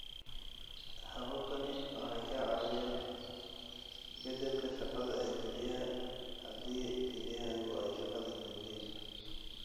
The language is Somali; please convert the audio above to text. Hababkani waxay kaa caawinayaan beddelka shaqada kelyaha haddii kelyahaagu ay shaqada joojiyeen.